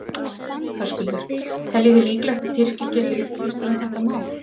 Höskuldur: Teljið þið líklegt að Tyrkir geti upplýst um þetta mál?